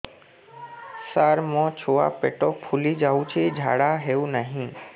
ସାର ମୋ ଛୁଆ ପେଟ ଫୁଲି ଯାଉଛି ଝାଡ଼ା ହେଉନାହିଁ